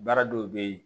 Baara dɔw bɛ ye